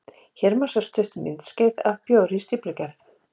Hér má sjá stutt myndskeið af bjór við stíflugerð.